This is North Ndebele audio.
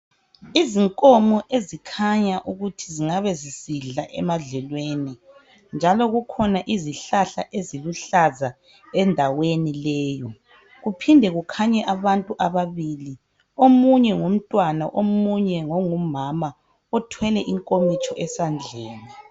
izinkomo ezikhanya ukuthi zingabe zisidla emadlelweni njalo kukhona izihlahla eziluhlaza endaweni leyi kuphinde kukhanye abantu ababili omunye ngumntwana omuye ngongumama othwele inkomitshi esandleni